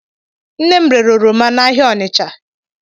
Nnem rere oroma n'ahịa Ọnitsha.